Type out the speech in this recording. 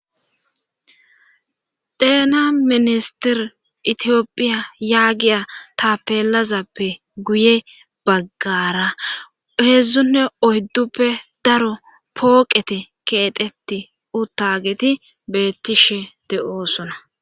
deena ministir itiyopphiya yaagiya ta peelazappe guye baggara heedzdzunne oydduppe daro pooqeti keedheti uttageti beettishe de7oosona